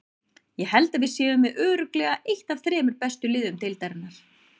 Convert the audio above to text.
Ég held að við séum með örugglega eitt af þremur bestu liðum deildarinnar.